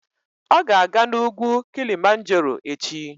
Ọ ga-aga n'ugwu Kilimanjaro echi.